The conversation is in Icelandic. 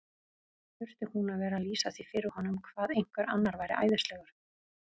Þurfti hún að vera að lýsa því fyrir honum hvað einhver annar væri æðislegur?